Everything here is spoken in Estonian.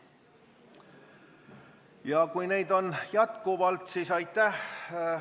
Ja kui neid on jätkuvalt, siis aitäh!